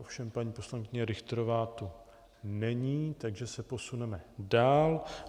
Ovšem paní poslankyně Richterová tu není, takže se posuneme dál.